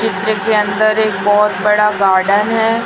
चित्र के अंदर एक बहोत बड़ा गार्डन है।